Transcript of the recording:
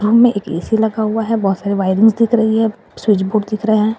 Room में एक AC लगा हुआ है बहोत सारे वायरिंग दिख रही है स्विच बोर्ड दिख रहे हैं।